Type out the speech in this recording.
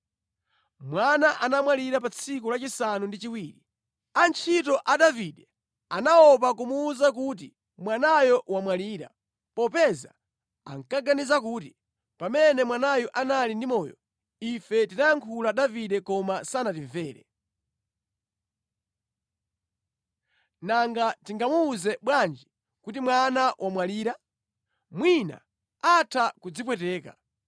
Mwana anamwalira pa tsiku lachisanu ndi chiwiri. Antchito a Davide anaopa kumuwuza kuti mwanayo wamwalira, popeza ankaganiza kuti, “Pamene mwanayu anali ndi moyo, ife tinayankhula Davide koma sanatimvere. Nanga tingamuwuze bwanji kuti mwana wamwalira? Mwina atha kudzipweteka.”